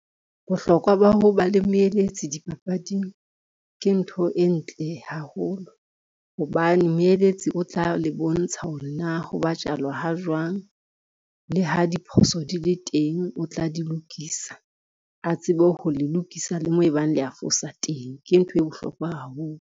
Bohlokwa ba ho ba le moeletsi dipapading, ke ntho e ntle haholo hobane moeletsi o tla le bontsha hore na ho batjalwa ha jwang, le ha diphoso di le teng o tla di lokisa. A tsebe ho lokisa le moo ebang le a fosa teng, ke ntho e bohlokwa haholo.